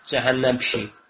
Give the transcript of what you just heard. Cəhənnəm pişik.